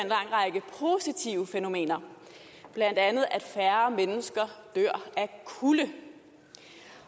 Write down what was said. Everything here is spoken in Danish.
en fænomener blandt andet at færre mennesker dør af kulde